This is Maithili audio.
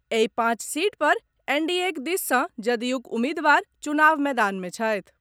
एहि पांच सीट पर एनडीएक दिस सॅ जदयूक उम्मीदवार चुनाव मैदान मे छथि।